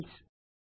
fields